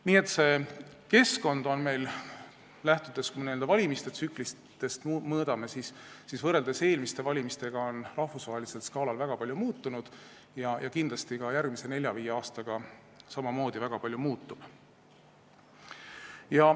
Nii et see keskkond on meil, kui me vaatame seda valimistsüklitest lähtudes, võrreldes eelmiste valimiste ajaga rahvusvahelisel skaalal väga palju muutunud ja kindlasti muutub ka järgmise nelja-viie aastaga samamoodi väga palju.